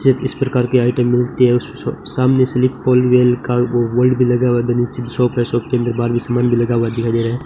जब इस प्रकार के आइटम मिलते है सामने से निकोल वेल कार बोर्ड भी लगा हुआ है नीचे शॉप है शॉप के अंदर बाहर भी समान लगा हुआ दिखाई दे रहा है।